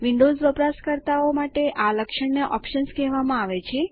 Windows વપરાશકર્તાઓ માટે આ લક્ષણને ઓપ્શન્સ કહેવામાં આવે છે